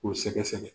K'u sɛgɛsɛgɛ